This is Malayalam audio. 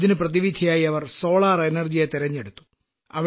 ഇതിന് പ്രതിവിധിയായി അവർ സൌരോർജത്തെ തിരഞ്ഞെടുത്തു